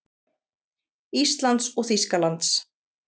Íslands og Þýskalands.